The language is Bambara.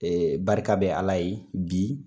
Ee barika be ala ye bi